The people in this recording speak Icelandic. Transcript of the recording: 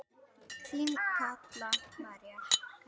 Þín Kalla María.